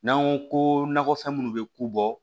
N'an ko ko nakɔfɛn minnu bɛ ko bɔ